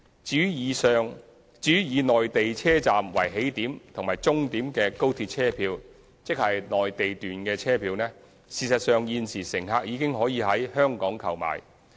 至於以內地車站為起點和終點的高鐵車票，即內地段車票，事實上現時乘客已經可以在香港購買。